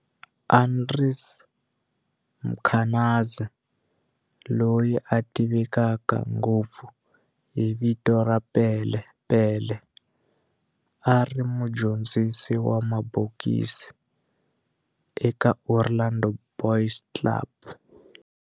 Andries Mkhwanazi, loyi a tiveka ngopfu hi vito ra Pele Pele, a ri mudyondzisi wa mabokisi eka Orlando Boys Club.